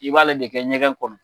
I b'ale de kɛ ɲɛgɛn kɔnɔ